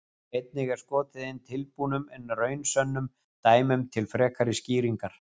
Einnig er skotið inn tilbúnum en raunsönnum dæmum til frekari skýringar.